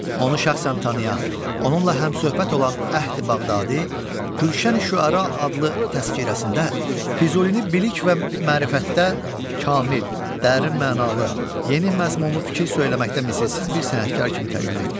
Onu şəxsən tanıyan, onunla həmsöhbət olan Əhdi Bağdadi, Gülşəni şüəra adlı təzkirəsində Füzulini bilik və mərifətdə kamil, dərin mənalı, yeni məzmunlu fikir söyləməkdə misilsiz bir sənətkar kimi təqdim etmişdir.